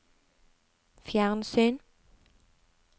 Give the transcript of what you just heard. fjernsyn